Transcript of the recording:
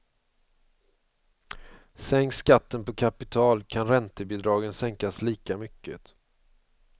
Sänks skatten på kapital kan räntebidragen sänkas lika mycket.